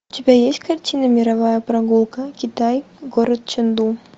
у тебя есть картина мировая прогулка китай город ченду